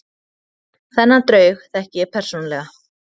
Þennan draug þekki ég persónulega.